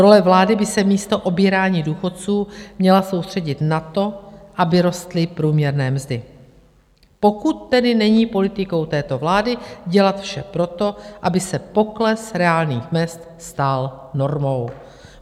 Role vlády by se místo obírání důchodců měla soustředit na to, aby rostly průměrné mzdy, pokud tedy není politikou této vlády dělat vše proto, aby se pokles reálných mezd stal normou.